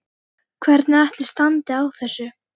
Hvernig ætli standi á þessu?